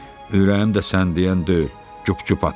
Ürəyim də sən deyən deyil, qup-qup atır.